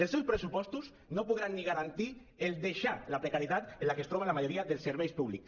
els seus pressupostos no podran ni garantir deixar la precarietat en la que es troba la majoria dels serveis públics